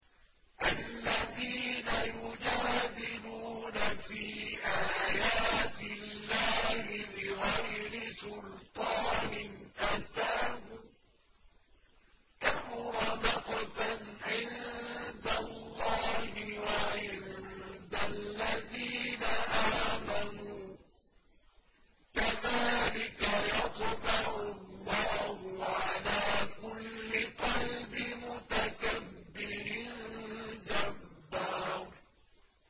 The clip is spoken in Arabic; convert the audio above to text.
الَّذِينَ يُجَادِلُونَ فِي آيَاتِ اللَّهِ بِغَيْرِ سُلْطَانٍ أَتَاهُمْ ۖ كَبُرَ مَقْتًا عِندَ اللَّهِ وَعِندَ الَّذِينَ آمَنُوا ۚ كَذَٰلِكَ يَطْبَعُ اللَّهُ عَلَىٰ كُلِّ قَلْبِ مُتَكَبِّرٍ جَبَّارٍ